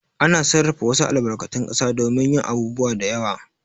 Ana sarrafa wasu albarkatun ƙasa domin yin abubuwa da yawa.